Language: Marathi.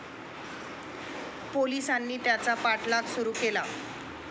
पोलीसांनी त्याचा पाठलाग सुरु केला.